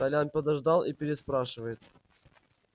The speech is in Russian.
толян подождал и переспрашивает